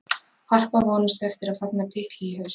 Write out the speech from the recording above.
Harpa vonast eftir að fagna titli í haust.